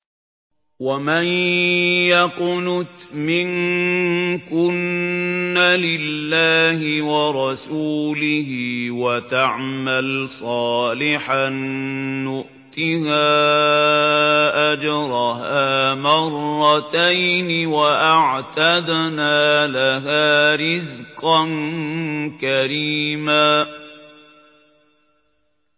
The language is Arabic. ۞ وَمَن يَقْنُتْ مِنكُنَّ لِلَّهِ وَرَسُولِهِ وَتَعْمَلْ صَالِحًا نُّؤْتِهَا أَجْرَهَا مَرَّتَيْنِ وَأَعْتَدْنَا لَهَا رِزْقًا كَرِيمًا